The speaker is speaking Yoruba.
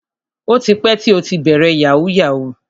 O ti pẹ́ tí ó ti bẹ̀rẹ̀ yahoo yahoo.